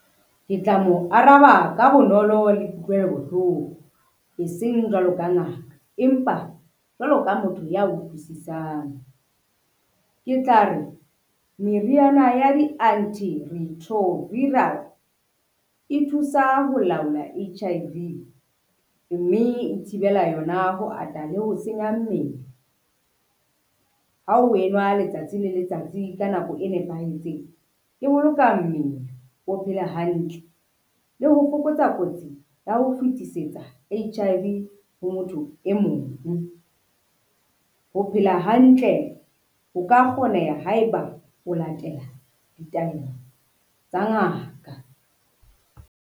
Ke tla mo araba ka bonolo le kutlwelo bohloko eseng jwalo ka ngaka, empa jwalo ka motho ya utlwisisang. Ke tla re meriana ya di-antiretroviral, e thusa ho laola H_I_V mme e thibela yona ho ata le ho senya mmele, ha o wenwa letsatsi le letsatsi ka nako e nepahetseng, e boloka mmele o phele hantle le ho fokotsa kotsi ya ho fetisetsa H_I_V ho motho e mong. Ho phela hantle ho ka kgoneha haeba o latela ditaelo tsa ngaka.